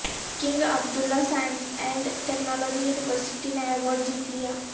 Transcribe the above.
king Abdullah Science and Technology University نے award جیت لیا